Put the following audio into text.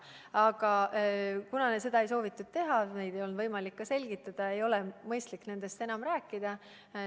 Aga kuna seda ei soovitud teha ja neid ettepanekuid ei olnud ka võimalik selgitada, siis ei ole mõistlik nendest enam rääkida.